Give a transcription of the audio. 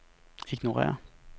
ignorér